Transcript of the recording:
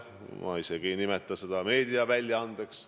Ma isegi ei nimeta seda meediaväljaandeks.